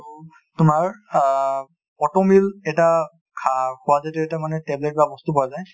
তোমাৰ অ auto meal এটা মানে এটা tablet বা বস্তু পোৱা যায় ,